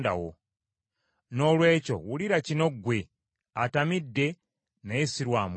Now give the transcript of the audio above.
Noolwekyo wulira kino ggwe, atamidde naye si lwa mwenge.